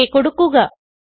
okay കൊടുക്കുക